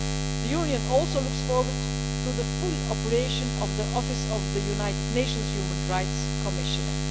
The Union also looks forward to the full operation of the office of the United Nations Human Rights Commissioner.